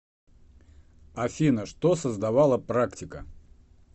афина что создавала практика